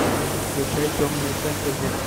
включай темное фэнтези